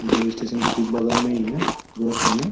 जो स्टेशन के ठीक बगल में ही है गोरखपुर में